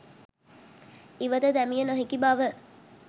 ඉවත දැමිය නොහැකි බව